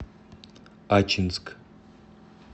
ачинск